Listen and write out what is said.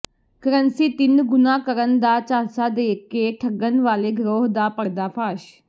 currency ਤਿੰਨ ਗੁਣਾ ਕਰਨ ਦਾ ਝਾਂਸਾ ਦੇ ਕੇ ਠੱਗਣ ਵਾਲੇ ਗਰੋਹ ਦਾ ਪਰਦਾਫਾਸ਼